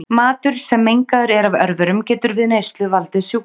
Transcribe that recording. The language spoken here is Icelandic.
Matur sem mengaður er af örverum getur við neyslu valdið sjúkdómum.